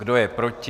Kdo je proti?